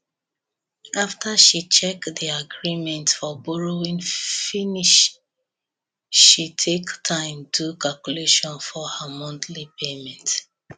after she check the agreement for borrowing finish she take time do calculation for her monthly payment